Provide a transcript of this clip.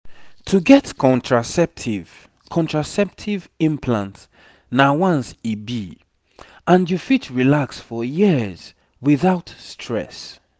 implant no dey plenty wahala once dem put am you no go dey worry yourself everyday.